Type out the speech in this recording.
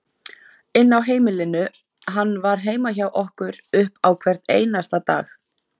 inn á heimilinu, hann var heima hjá okkur upp á hvern einasta dag.